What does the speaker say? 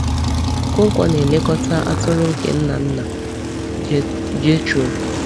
Okonkwo na-elekọta atụrụ nke nna nna Jethro.